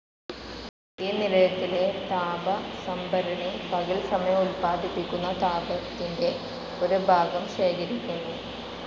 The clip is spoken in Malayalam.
ഈ നിലയത്തിലെ താപസംഭരണി പകൽസമയം ഉൽപാദിപ്പിക്കുന്ന താപത്തിൻ്റെ ഒരുഭാഗം ശേഖരിക്കുന്നു.